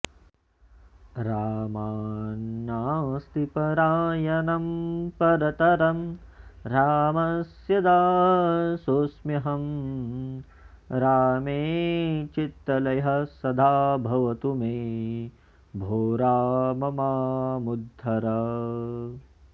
रामान्नास्ति परायणं परतरं रामस्य दासोस्म्यहं रामे चित्तलयः सदा भवतु मे भो राम मामुद्धर